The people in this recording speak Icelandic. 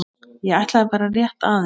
ég ætlaði bara rétt aðeins.